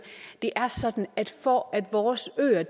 det er sådan at for at vores øer